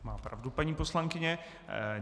Má pravdu paní poslankyně.